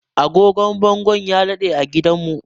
Agogon bangon ya dade a gidanmu